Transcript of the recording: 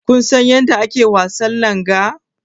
Kusan yadda ake wasan langa?